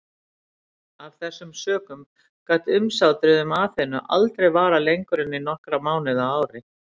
Af þessum sökum gat umsátrið um Aþenu aldrei varað lengur en nokkra mánuði á ári.